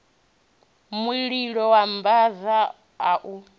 mulilo wa mbava a u